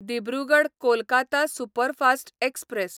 Dibrugarh Kolkata superfast express